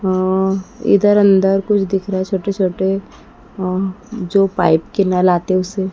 अह इधर अंदर कुछ दिख रहा है छोटे-छोटे अह जो पाइप के नल आते हैं उसे।